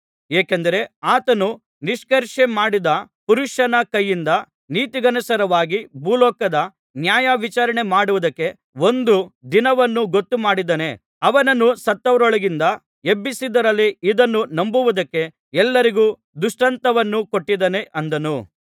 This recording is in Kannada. ಏಕೆಂದರೆ ಆತನು ನಿಷ್ಕರ್ಷೆಮಾಡಿದ ಪುರುಷನ ಕೈಯಿಂದ ನೀತಿಗನುಸಾರವಾಗಿ ಭೂಲೋಕದ ನ್ಯಾಯವಿಚಾರಣೆ ಮಾಡುವುದಕ್ಕೆ ಒಂದು ದಿನವನ್ನು ಗೊತ್ತು ಮಾಡಿದ್ದಾನೆ ಅವನನ್ನು ಸತ್ತವರೊಳಗಿಂದ ಎಬ್ಬಿಸಿದ್ದರಲ್ಲಿ ಇದನ್ನು ನಂಬುವುದಕ್ಕೆ ಎಲ್ಲರಿಗೂ ದೃಷ್ಟಾಂತವನ್ನು ಕೊಟ್ಟಿದ್ದಾನೆ ಅಂದನು